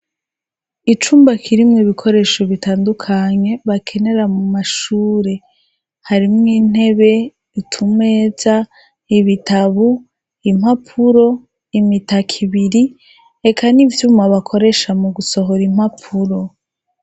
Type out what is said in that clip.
icumbakirimwe ibikoresho bitandukanye bakenera mu mashure harimwo intebe utumeza ibitabu impapuro imitaka ibiri reka n'ivyuma bakoresha mu gusohora impapuro